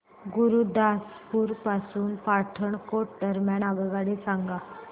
गुरुदासपुर पासून पठाणकोट दरम्यान आगगाडी सांगा